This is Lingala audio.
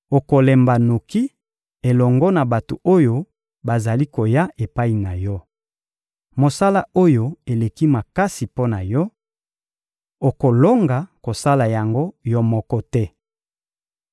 Okolemba noki elongo na bato oyo bazali koya epai na yo. Mosala oyo eleki makasi mpo na yo; okolonga kosala yango yo moko te.